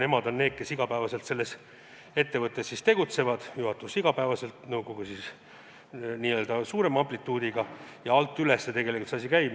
Nemad on need, kes igapäevaselt selles ettevõttes tegutsevad – juhatus igapäevaselt, nõukogu siis n-ö suurema amplituudiga – ja niimoodi alt üles tegelikult see asi käib.